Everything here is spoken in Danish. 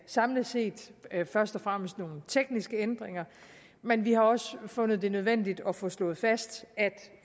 samlet set først og fremmest nogle tekniske ændringer men vi har også fundet det nødvendigt at få slået fast